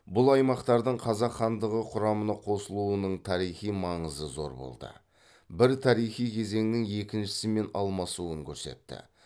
бұл аймақтардың қазақ хандығы құрамына қосылуының тарихи маңызы зор болды бір тарихи кезеңнің екіншісімен алмасуын көрсетті